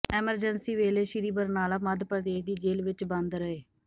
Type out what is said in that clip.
emergency ਵੇਲੇ ਸ੍ਰੀ ਬਰਨਾਲਾ ਮੱਧ ਪ੍ਰਦੇਸ਼ ਦੀ ਜੇਲ੍ਹ ਵਿੱਚ ਬੰਦ ਰਹੇ